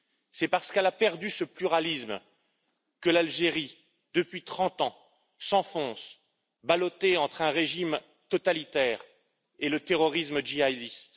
C'est parce qu'elle a perdu ce pluralisme que l'Algérie, depuis 30 ans, s'enfonce, ballottée entre un régime totalitaire et le terrorisme djihadiste.